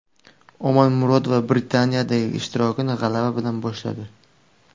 Omonmurodova Britaniyadagi ishtirokini g‘alaba bilan boshladi.